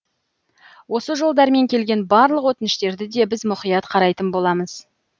осы жолдармен келген барлық өтініштерді де біз мұқият қарайтын боламыз